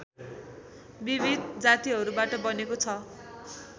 विविध जातिहरूबाट बनेको छ